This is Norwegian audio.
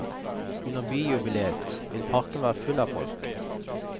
Under byjubileet vil parken være full av folk.